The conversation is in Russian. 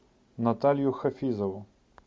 наталью хафизову